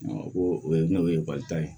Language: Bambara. o ye n'o ye ekɔli ta ye